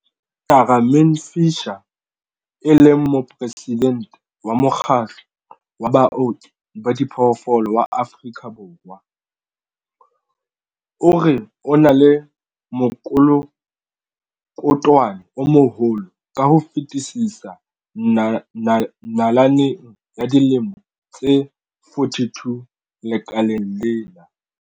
Tamarin Fisher, e leng Moporesidente wa Mokgatlo wa Baoki ba Diphoofolo wa Afrika Borwa, o re ona ke mokolokotwane o moholo ka ho fetisisa nalaneng ya dilemo tse 42 lekaleng lena.